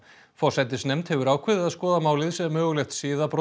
forsætisnefnd hefur ákveðið að skoða málið sem mögulegt